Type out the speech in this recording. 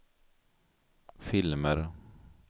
filmer